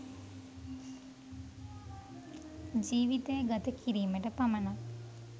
ජීවිතය ගත කිරීමට පමණක්